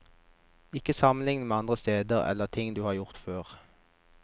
Ikke sammenligne med andre steder, eller ting du har gjort før.